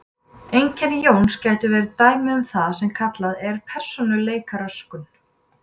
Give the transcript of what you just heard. Einkenni Jóns gætu verið dæmi um það sem kallað er persónuleikaröskun.